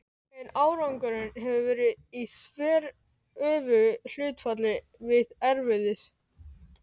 En árangurinn hefur verið í þveröfugu hlutfalli við erfiðið.